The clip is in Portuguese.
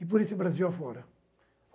E por esse Brasil afora.